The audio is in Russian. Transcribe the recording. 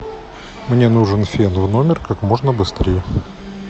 мне нужен фен в номер как можно быстрее